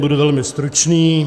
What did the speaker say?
Budu velmi stručný.